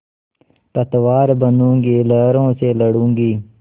पतवार बनूँगी लहरों से लडूँगी